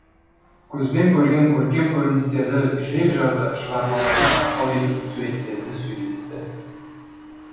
көзбен көрген көркем көріністерді жүрекжарды шығармаларына арқау етіп суреттерді сөйлетті